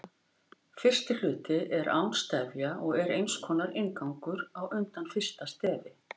Fyrsti hluti er án stefja og er eins konar inngangur á undan fyrsta stefi.